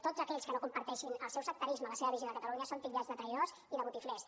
tots aquells que no comparteixin el seu sectarisme la seva visió de catalunya són titllats de traïdors i de botiflers